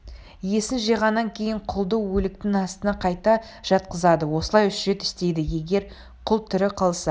есін жиғаннан кейін құлды өліктің астына қайта жатқызады осылай үш рет істейді егер құл тірі қалса